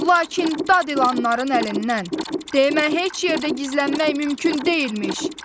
Lakin dad ilanların əlindən, demə heç yerdə gizlənmək mümkün deyilmiş.